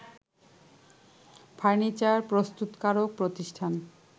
furniture প্রস্তুতকারক প্রতিষ্ঠান